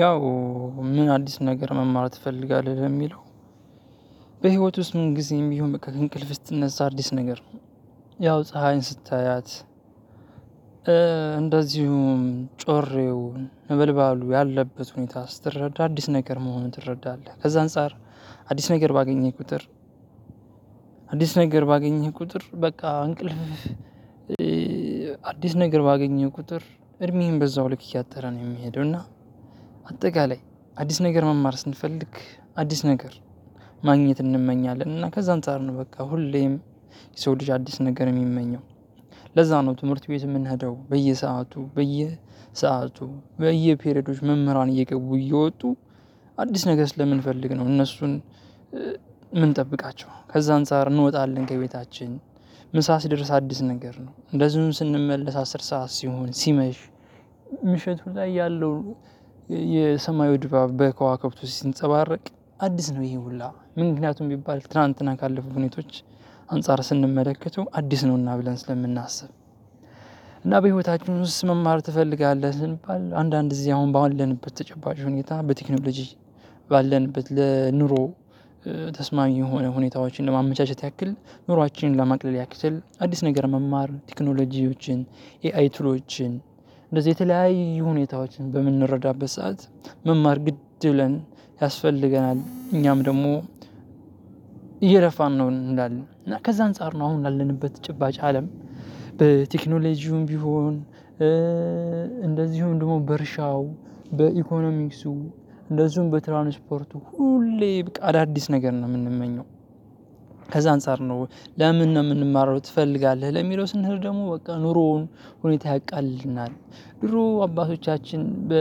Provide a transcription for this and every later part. ያው ምን አዲስ ነገር መማር ትፈልጋለህ ለሚለው? በህይወት ውስጥ ምን ጊዜም ቢሆን በቃ ከእንቅልፍ ስትነዛ አዲስ ነገር ነው። ያው ፀሀይን ስታያት እንደዚሁም ጮሬው ነበልባሉ ያለበት ሁኔታ ስትረዳ አዲስ ነገር መሆኑን ትረዳለህ። ከዛ አንፃር አዲስ ነገር ባገኘህ ቁጥር አዲስ ነገር ባገኘህ ቁጥር በቃ እንቅልፍ። አዲስ ነገር ባገኘህ ቁጥር እድሜዬን በዛው ልክ እያጠረ ነው የምሄደው። እና አጠቃላይ አዲስ ነገር መማር ስንፈልግ አዲስ ነገር ማግኘት እንመኛለን እና ከዛም አንጣር ነው። በቃ ሁሌም የሰው ልጅ አዲስ ነገር የሚመኘው ለዛ ነው። ትምህርት ቤት የምንሄደው በየሰአቱ በየሰአቱ በየፔሬዶች መምህራን እየገቡ እየወጡ አዲስ ነገ ስለምንፈልግ ነው። እነሱን የምንጠብቃቸው ከዛ አንፃር እንወጣለን ከቤታችን ምሳ ሲደርስ አዲስ ነገር ነው። እንደዚሁም ስንመለስ አስር ሰዓት ሲሆን ሲመሽ ምሽቱ ላይ ያለው የሰማዩ ድባብ በከዋክብት ውስጥ ሲንጸባረቅ አዲስ ነው። ይሄ ሁሉ ምክንያቱም ቢባል ትላንትና ካለፉ ሁኔታዎች አንፃር ስንመለከተው አዲስ ነውና ብለን ስለምናስብ። እና በሂወታችን ውስጥ መማር ትፈልጋለህ ስንባል አንዳንድ ጊዜ አሁን ባለንበት ተጨባጭ ሁኔታ በቴክኖሎጂ ባለንበት ለኑሮ ተስማሚ የሆነ ሁኔታዎችን ለማመቻቸት ያክል። ኑሯችንን ለማቅለል ያክል አዲስ ነገር መማር ቴክኖሎጂዎችን ኤአይ ቱሎችን እንደዚህ የተለያዩ ሁኔታዎችን በምንረዳበት ሰዓት መማር ግድ ብለን ያስፈልገናል። እኛም ደግሞ እየለፋን ነው እንላለ እና ከዛ አንፃር ነው አሁን ላለንበት ጭባጭ አለም በቴክኖሌጂውም ቢሆን። እንደዚሁም ደግሞ በእርሻው በኢኮኖሚክሱ እንደዚሁም በትራንስፖርቱ ሁሌ በቃ አዳዲስ ነገር ነው የምንመኘው። ከዛ አንፃር ነው ለምን ነው የምንማረው ትፈልጋለህ? ለሚለው ስንሄድ ደግሞ በቃ ኑሮውን ሁኔታ ያቃልልናል። ድሮ አባቶቻችን በ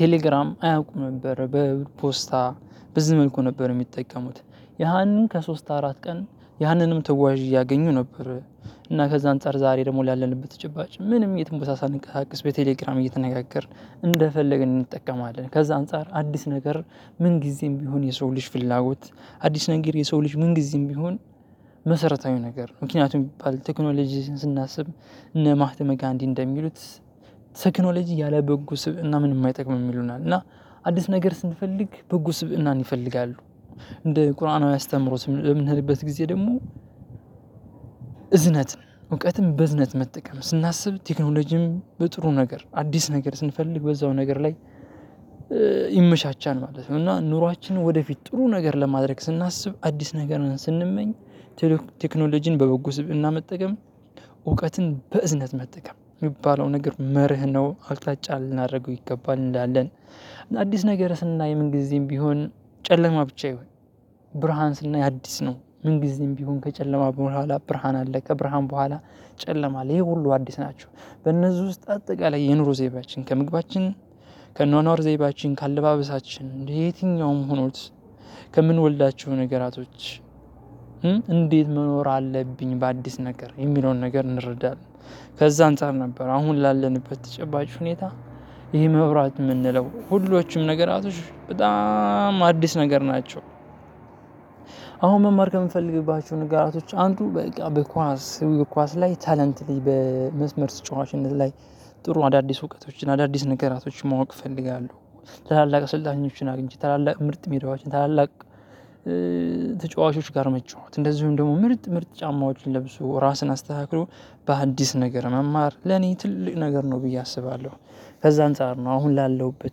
ቴሌግራም አያውቁም ነበር። በፖስታ በዚህ መልኩ ነበር የሚጠቀሙት። ያንን ከሶስት አራት ቀን ያንንም ተዋዥ እያገኙ ነበር። እና ከዛ አንፃር ዛሬ ደግሞ ላለንበት ጭባጭ ምንም የትም ቦታ ሳንቀሳቀስ በቴሌግራም እየተነጋገርን እንደፈለግን እንጠቀማለን። ከዛ አንፃር አዲስ ነገር ምን ጊዜም ቢሆን የሰው ልጅ ፍላጎት አዲስ ነገር የሰው ልጅ ምን ጊዜም ቢሆን። መሰረታዊ ነገር ምክንያቱም የሚባል ቴክኖሎጂ ስናስብ እነ ማህተመ ጋንዲ እንደሚሉት ቴክኖሎጂ ያለ በጎ ስበእና ምንም አይጠቅምም ይሉናል። እና አዲስ ነገር ስንፈልግ በጎ ስብእናን ይፈልጋሉ። እንደ ቁርአናዊ ያስተምሮ የምንሄድበት ጊዜ ደግሞ። እዝነት ነው እውቀትም በእዝነት መጠቀም ስናስብ ቴክኖሎጂም በጥሩ ነገር አዲስ ነገር ስንፈልግ በዛው ነገር ላይ ይመቻቻል ማለት ነው። እና ኑሯችንን ወደፊት ጥሩ ነገር ለማድረግ ስናስብ አዲስ ነገርን ስንመኝ። ቴክኖሎጂን በበጎ ስብእና መጠቀም እውቀትን በእዝነት መጠቀም የሚባለው ነገር መርህ ነው አቅጣጫ ልናደርገው ይገባል እንላለን። አዲስ ነገር ስናይ ምን ጊዜም ቢሆን ጨለማ ብቻ ይሁን። ብርሃን ስናይ አዲስ ነው ምን ጊዜም ቢሆን ከጨለማ በኋላ ብርሃን አለ ከብርሃን በኋላ ጨለማ አለ። ይሄ ሁሉ አዲስ ናቸው። በእነዚህ ውስጥ አጠቃላይ የኑሮ ዘይባችን ከምግባችን ከአኖኖር ዘይባችን ከአለባበሳችን የትኛውም ሆኖት ከምንወልዳቸው ነገራቶች። እንዴት መኖር አለብኝ በአዲስ ነገር የሚለውን ነገር እንረዳለን። ከዛ አንፃር ነበር አሁን ላለንበት ተጨባጭ ሁኔታ ይሄ መብራት የምንለው ሁሎችም ነገራቶች በጣም አዲስ ነገር ናቸው። አሁን መማር ከምፈልግባችሁ ነገራቶች አንዱ በቃ በኳስ ኳስ ላይ ታለንትሊ በመስመር ተጫዋችነት ላይ ጥሩ አዳዲስ እውቀቶችን አዳዲስ ነገራቶችን ማወቅ እፈልጋለሁ። ታላላቅ ስልጣኞችን አግኝቼ ታላላቅ ምርጥ ሜዳወችን ታላላቅ ተጫዋቾች ጋር መጫውት እንደዚሁም ደግሞ ምርጥ ምርጥ ጫማዎችን ለብሶ ራስን አስተካክሎ በአዲስ ነገር መማር ለኔ ትልቅ ነገር ነው ብዬ አስባለሁ። ከዛ አንፃር ነው አሁን ላለውበት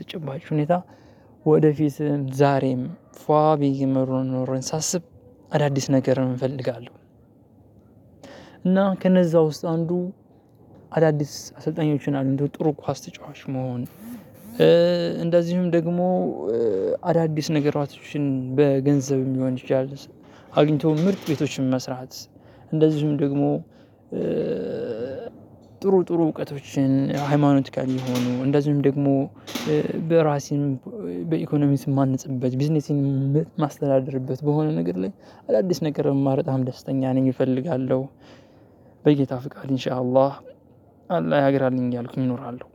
ተጨባጭ ሁኔታ ወደፊት ዛሬም ፏ ቢየ መሩን ኖረየን ሳስብ አዳዲስ ነገር እፈልጋለሁ። እና ከነዛ ውስጥ አንዱ አዳዲስ አሰልጣኞችን አሉ እንደው ጥሩ ኳስ ተጫዋች መሆን። እንደዚሁም ደግሞ አዳዲስ ነገሮችን በገንዘብ ሊሆን ይችላል። አግኝቶ ምርጥ ቤቶችን መስራት። እንደዚሁም ደግሞ ጥሩ ጥሩ እውቀቶችን ሃይማኖቲካል የሆኑ እንደዚሁም ደግሞ በራሴን በኢኮኖሚስ ማንጽበት ቢዝነሴን የማስተዳድርበት በሆነ ነገር ላይ አዳዲስ ነገር የማረጣህ ደስተኛ ነኝ እፈልጋለሁ። በጌታ ፍቃድ ኢንሻ አላህ አላህ ሀገር አለኝ እያልኩኝ እኖራለሁ።